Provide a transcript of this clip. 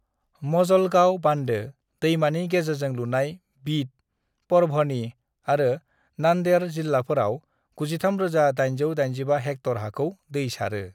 "मजलगांव बान्दो, दैमानि गेजेरजों लुनाय, बीड, परभणी आरो नांदेड़ जिल्लाफोराव 93,885 हेक्टर हाखौ दै सारो।"